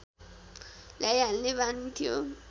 ल्याइहाल्ने बानी थियो